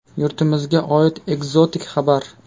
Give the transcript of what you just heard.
Yurtimizga oid ekzotik xabar .